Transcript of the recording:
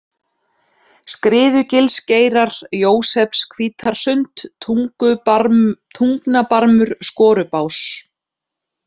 Skriðugilsgeirar, Jósepshvítarsund, Tungnabarmur, Skorubás